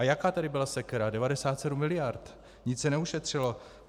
A jaká tady byla sekera - 97 miliard, nic se neušetřilo!